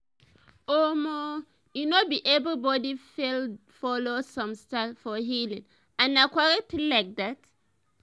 omo eh no be everybody dey follow same style for healing and na correct thing like dat.